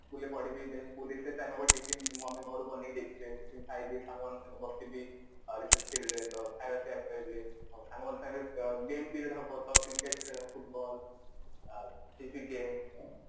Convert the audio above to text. school ରେ ପଢିବି then ସେ time ରେ mummy tiffin mummy ଘରୁ ବନେଇକି ଦେଇଥିବେ ସାଙ୍ଗ ମାନଙ୍କ ସହିତ ବସିବି ଖାଇବା share କରିବି ଆଉ ସାଙ୍ଗ ମାନଙ୍କ ସହିତ ଗେମ period ହବ ତ cricket ଖେଳ football game